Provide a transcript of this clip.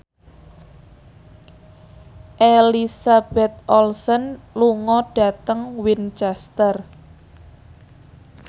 Elizabeth Olsen lunga dhateng Winchester